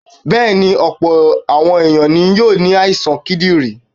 Bẹ́ẹ̀ ni, ọ̀pọ̀ àwọn èèyàn ní yóò ní àìsàn kídìrí.